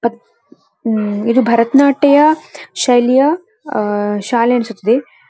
ಉಮ್ಮ್ ಇದು ಭರತನಾಟ್ಯ ಶೈಲಿಯ ಉಮ್ ಶಾಲೆ ಅನಿಸುತಿದೆ‌.